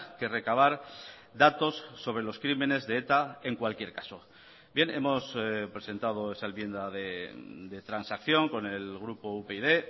que recabar datos sobre los crímenes de eta en cualquier caso bien hemos presentado esa enmienda de transacción con el grupo upyd